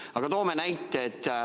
Aga toon näite.